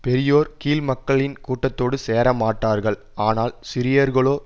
பெரியோர் கீழ்மக்களின் கூட்டத்தோடு சேர மாட்டார்கள் ஆனால் சிறியோர்களோ